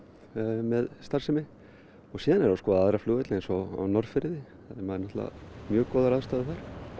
með starfsemi og síðan erum við að skoða aðra flugvelli eins og á Norðfirði það eru náttúrulega mjög góðar aðstæður þar